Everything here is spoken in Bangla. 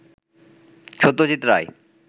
সত্যজিৎ রায়